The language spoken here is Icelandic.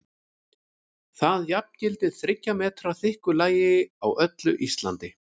Það jafngildir þriggja metra þykku lagi á öllu Íslandi!